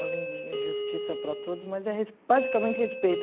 Além de justiça para todos, mas é res basicamente respeito.